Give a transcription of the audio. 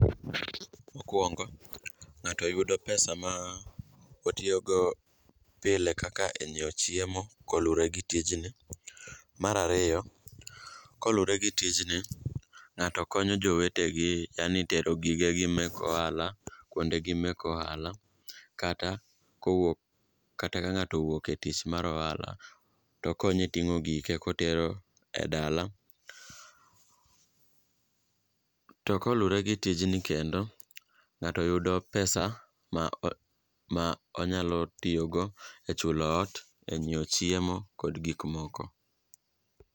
Mokwongo ng'ato yudo pesa ma otiyogo pile kaka e nyiewo chiemo koluwore gi tijni. Mar ariyo, koluwore gi tijni, ng'ato konyo jowetegi yani tero gigegi mek ohala kuondegi mek ohala kata ka ng'ato owuok e tich mar ohala to okonye ting'o gike kotero e dala. To koluwre gi tijni kendo, ng'ato yudo pesa ma onyalo tiyogo e chulo ot, e nyiewo chiemo kod gikmoko.